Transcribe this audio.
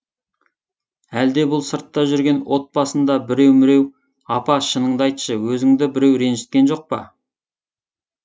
әлде бұл сыртта жүрген отбасында біреу міреу апа шыныңды айтшы өзіңді біреу ренжіткен жоқ па